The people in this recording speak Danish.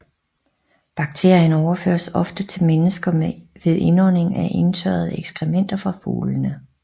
Bakterien overføres oftest til mennesker ved indånding af indtørrede ekskrementer fra fuglene